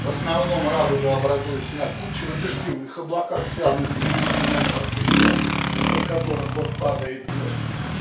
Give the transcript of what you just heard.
в основном радуга образуется на кучево-дождевых облаках связанных с ливневыми осадками из-под которых вот падает дождь